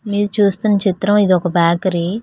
మీరు చూస్తున్న చిత్రం ఇది ఒక బ్యాకరీ